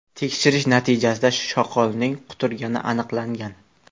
Tekshirish natijasida shoqolning quturgani aniqlangan.